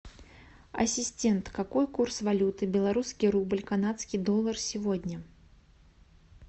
ассистент какой курс валюты белорусский рубль канадский доллар сегодня